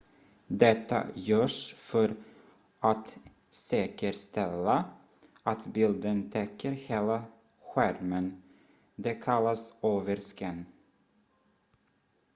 detta görs för att säkerställa att bilden täcker hela skärmen det kallas overscan